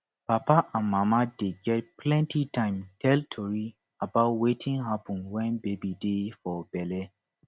papa and mama dey get plenty time tell tori about wetin happun wen baby dey for belle